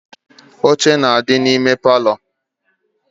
Oche na adi na ime parlour